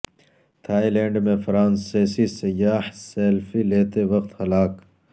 Thai land میں فرانسیسی سیاح سیلفی لیتے وقت ہلاک